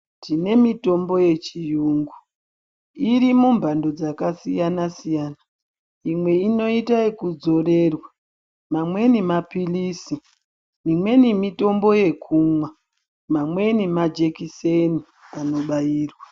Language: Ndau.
Tine mitombo yechiyungu irimumbando dzakasiyana-siyana. Imwe inoita yekudzorerwa, mamweni maphilizi, mimweni mitombo yekumwa, mamweni majekiseni anobairwa.